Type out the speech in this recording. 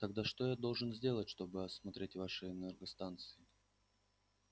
тогда что я должен сделать чтобы осмотреть ваши энергостанции